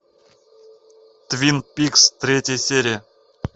твин пикс третья серия